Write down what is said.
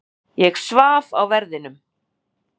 Ég svaf á verðinum.